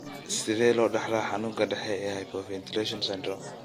Sidee loo dhaxlaa xanuunka dhexe ee hypoventilation syndrome?